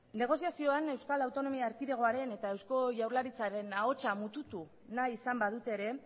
negozazioan euskal autonomia erkidegoaren eta eusko jaurlaritzaren ahotza mututu nahi izan badute ere